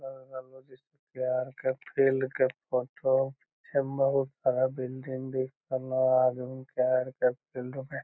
अगल-बगल में जिस पैर के फील्ड के फोटो जे मे बहुत खड़ा बिल्डिंग दिख रहलो हेय आदमी के फील्ड में।